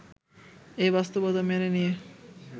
এই বাস্তবতা মেনে নিয়ে